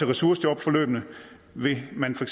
ressourceforløbene vil man for